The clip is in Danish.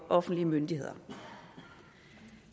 offentlige myndigheder